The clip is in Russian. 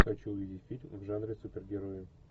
хочу увидеть фильм в жанре супергероев